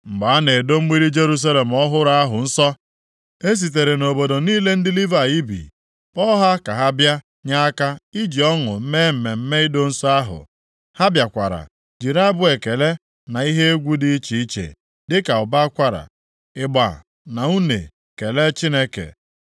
Mgbe a na-edo mgbidi Jerusalem ọhụrụ ahụ nsọ, e sitere nʼobodo niile ndị Livayị bi kpọọ ha ka ha bịa nye aka iji ọṅụ mee mmemme ido nsọ ahụ. Ha bịakwara jiri abụ ekele na ihe egwu dị iche iche dịka ụbọ akwara, ịgba na une kelee Chineke.